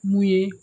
Mun ye